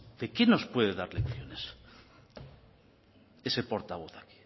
de qué nos puede dar lecciones ese portavoz aquí